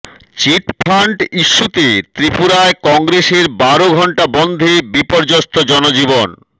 chit fund ইস্যুতে ত্রিপুরায় কংগ্রেসের বারো ঘন্টা বনধে বিপর্যস্ত জনজীবন